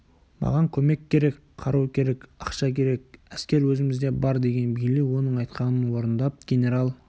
маған көмек керек қару керек ақша керек әскер өзімізде бар деген бейли оның айтқанын орындап генерал